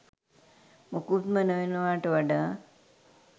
මොකුත්ම නොවෙනවාට වඩා